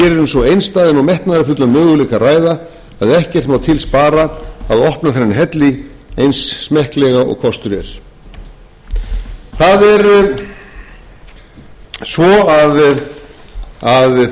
svo einstæðan og metnaðarfullan möguleika að ræða að ekkert má til spara að opna þennan helli eins smekklega og kostur er það er svo að þríhnjúkahellirinn opnast efst í einum af þ þríhnjúkunum og